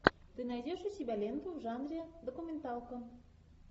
ты найдешь у себя ленту в жанре документалка